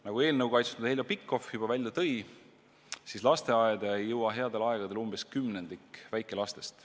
Nagu eelnõu kaitsnud Heljo Pikhof juba välja tõi, lasteaeda ei jõua headel aegadel umbes kümnendik väikestest lastest.